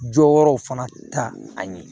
Jɔyɔrɔw fana ta an ye